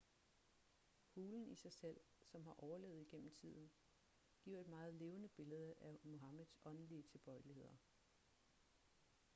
hulen i sig selv som har overlevet igennem tiden giver et meget levende billede af muhammeds åndelige tilbøjeligheder